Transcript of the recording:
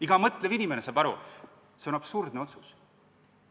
Iga mõtlev inimene saab aru, et see on absurdne otsus.